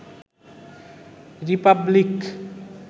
Republic